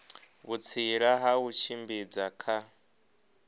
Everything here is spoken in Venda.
vhutsila ha u tshimbidza kha